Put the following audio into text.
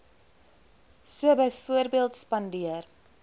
so byvoorbeeld spandeer